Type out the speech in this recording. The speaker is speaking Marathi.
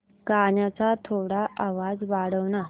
गाण्याचा थोडा आवाज वाढव ना